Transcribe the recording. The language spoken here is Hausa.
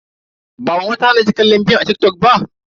Ba mama ta hana ki kallon bidiyoyin a TikTok ba?